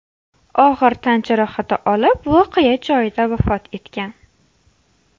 og‘ir tan jarohati olib voqea joyida vafot etgan.